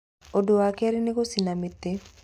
Ũndũ wa kerĩ nĩ gũcina mĩtĩ.